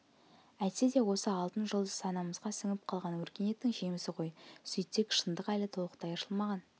әйтсе де осы алтын жұлдыз санамызға сіңіп қалған өркениеттің жемісі ғой сөйтсек шындық әлі толықтай ашылмаған